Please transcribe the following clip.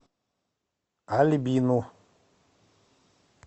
альбину